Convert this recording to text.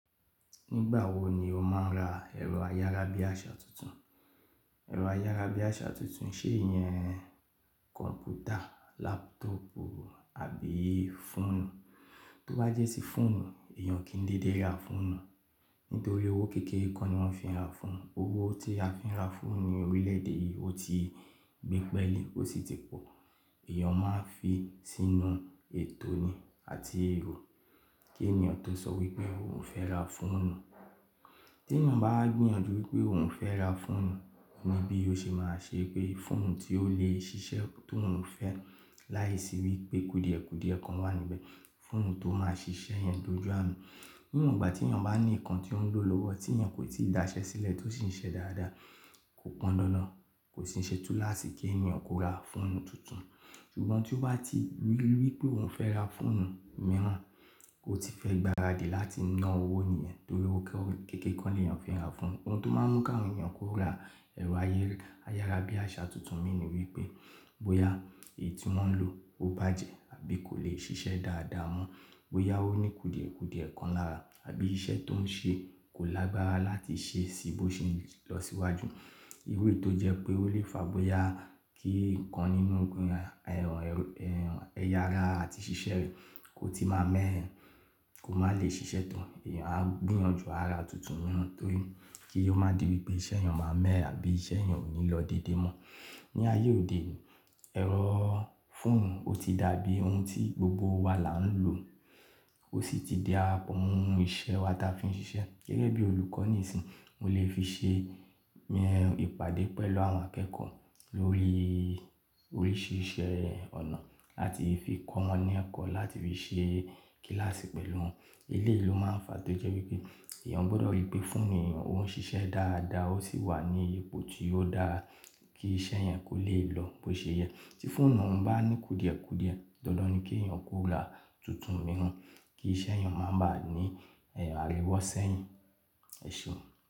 Nígbà wo ni o máa ń ra ẹ̀rọ ayárabíàṣá tuntun? Ẹ̀rọ ayárabíàṣá tuntun ṣe é yẹn kọ̀m̀pútà, lápútọ̀pù àbí fóònù? Tó bá jẹ́ sí fóònù, èèyàn kín dédé ra fóònù? Nítorí owó kékeré kan ni wọ́n fi ń ra fóònù. Owó tí a fi ń ra fóònù ní orílẹ̀ èdè yìí, ó ti gbé pẹ́ẹ́lì ó sì ti pọ̀. Èèyàn máa ń fi í sínú ètò ni àti èrò kí ènìyàn tó sọ wípé òun fẹ́ ra fóònù. Tí èèyàn bá gbìyànjú wípé òun fẹ́ ra fóònù, ni bí ó ṣe máa ṣe pé fóònù tí ó lè ṣiṣẹ́ tó òun fẹ́, láìsí wípé kùdìẹ̀kùdìẹ̀ kan wà níbẹ̀. Fóònù tó máa ṣiṣẹ́ èèyàn lójú ààrù. Níwon ìgbà tí èèyàn bá ní nǹkan tí ó ń lò lọ́wọ́ tí èèyàn kò tí ì dáṣẹ́ sílẹ̀ tó sì ń ṣe dáadáa, kò pọ́ndáná, kò sì ń ṣe túláàsì kí èèyàn kó ra fóònù tuntun. Ṣùgbọ́n tí ó bá ti rí wípé òun fẹ́ ra fóònù mìíràn, ò tí fẹ́ gbaradì láti ná owó nìyẹn torí owó kékeré ko ni èèyàn fi ń ra fóònù. Ohun tó máa ń mú káwọn èèyàn kó ra ẹ̀rọ ayárabíàṣá tuntun imi ni wípé bóyá èyí tí wọ́n ń lò ó bàjẹ́ àbí kò lè ṣiṣẹ́ dáadáa mọ́. Bóyá ó ní kùdìẹ̀kùdìẹ̀ kan lára àbí iṣẹ́ tó ń ṣe kò lágbára láti ṣe sí bó ṣe ń lọ síwájú. Iru i tó jẹ́ pé ó lè fà bóyá kí nǹkan nínú ẹ̀rọ ẹ̀yà ara àti ṣíṣẹ́ rẹ̀ kò tí máa mẹ́ ye, kò máa lè ṣiṣẹ́ tán. Èèyàn á gbìyànjú ara tuntun mìíràn torí kí ó má di wípé iṣẹ́ èèyàn máa mẹ́ye àbí iṣẹ́ èèyàn ò ní lọ déédé mọ́. Ni ayé òde òní, ẹ̀rọ fóònù ó ti dàbí ohun tí gbogbo wa là ń lò. Ó sì ti darapọ̀ mo ohun iṣẹ́ wa tí a fi ń ṣiṣẹ́. Gẹ́gẹ́ bí olùkọ́ nìsìyí, mo lè fi ṣe ìpàdé pẹ̀lú àwọn akẹ́kọ̀ọ́ lórí oríṣiríṣi ọ̀nà láti fi kọ wọ́n ní ẹ̀kọ́, láti fi ṣe kílàsì pẹ̀lú wọn. Eléyì lo máa ń fà tó jẹ́ wípé èèyàn gbọdọ̀ rí pé fóònù èèyàn ó ń ṣiṣẹ́ dáadáa ó sì wà ní ipò tí ó dáa kí iṣẹ́ èèyàn kó lè lọ bó ṣe yẹ. Tí fóònù ọ̀ún bá ní kùdìẹ̀kùdìẹ̀, dandan ni kí èèyàn kó ra tuntun mìíràn kí iṣẹ́ èèyàn má bà á ní ẹ̀rọ àríwọ́sẹ́yìn. Ẹ̀ṣeùn.